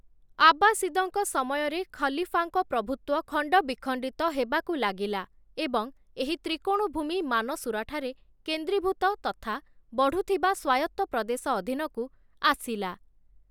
ଆବ୍ବାସିଦଙ୍କ ସମୟରେ, ଖଲିଫାଙ୍କ ପ୍ରଭୁତ୍ୱ ଖଣ୍ଡ ବିଖଣ୍ଡିତ ହେବାକୁ ଲାଗିଲା ଏବଂ ଏହି ତ୍ରିକୋଣଭୂମି ମାନସୁରାଠାରେ କେନ୍ଦ୍ରୀଭୂତ ତଥା ବଢୁଥିବା ସ୍ୱାୟତ୍ତ ପ୍ରଦେଶ ଅଧୀନକୁ ଆସିଲା ।